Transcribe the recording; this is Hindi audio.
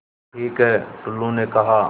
ठीक है टुल्लु ने कहा